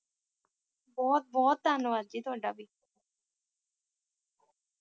ਬਹੁਤ ਬਹੁਤ ਧੰਨਵਾਦ ਜੀ ਤੁਹਾਡਾ ਵੀ